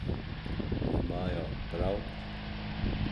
Imajo prav?